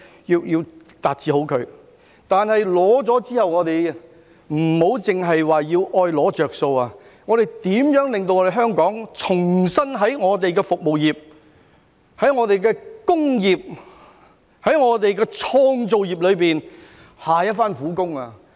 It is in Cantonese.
然而，在成功爭取之後，不要只懂"攞着數"，而是應該令香港在服務業、工業及創造業再下一番苦工。